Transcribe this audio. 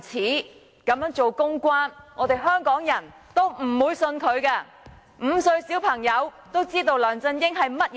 不論他怎樣做公關工作，我們香港人也不會相信他，連5歲小朋友也知道梁振英是甚麼人。